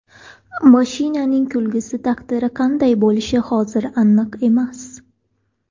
Mashinaning kelgusi taqdiri qanday bo‘lishi hozir aniq emas.